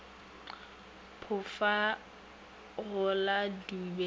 pofa go la dube ba